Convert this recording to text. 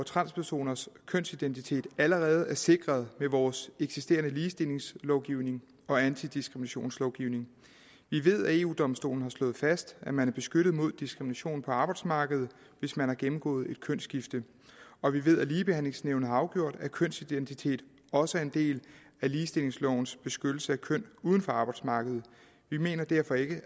transpersoners kønsidentitet allerede er sikret ved vores eksisterende ligestillingslovgivning og antidiskriminationslovgivning vi ved at eu domstolen har slået fast at man er beskyttet mod diskrimination på arbejdsmarkedet hvis man har gennemgået et kønsskifte og vi ved at ligebehandlingsnævnet har afgjort at kønsidentitet også er en del af ligestillingslovens beskyttelse af køn uden for arbejdsmarkedet vi mener derfor ikke